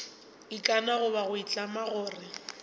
ikana goba go itlama gore